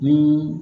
Ni